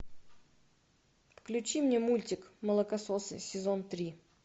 включи мне мультик молокососы сезон три